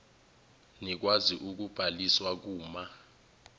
nikwazi ukubhaliswa kuma